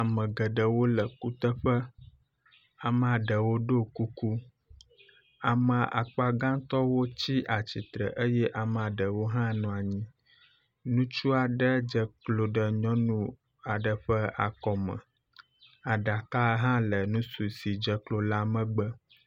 Ame geɖewo le kuteƒe, amea ɖewo ɖo kuku, ame akpa gãtɔwo tsi atsitre eye amea ɖewo hã nɔ anyi. Ŋutsu aɖe dze klo ɖe nyɔnu aɖe ƒe akɔme. Aɖaka hã le ŋutsu si dze klo la megbe.